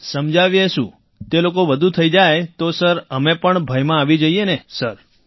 સમજાવીએ શું તે લોકો વધુ થઈ જાય તો સર અમે પણ ભયમાં આવી જઈએ ને સર